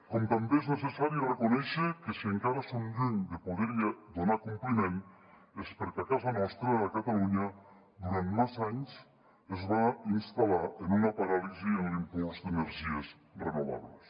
com també és necessari reconèixer que si encara som lluny de poder hi donar compliment és perquè a casa nostra a catalunya durant massa anys es va instal·lar en una paràlisi l’impuls d’energies renovables